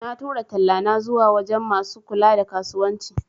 Na tura tallana zuwa wajan masu kula da kasuwanci